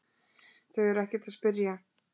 Þau eru ekkert að spyrja